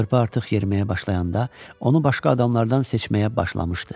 Körpə artıq yeriməyə başlayanda onu başqa adamlardan seçməyə başlamışdı.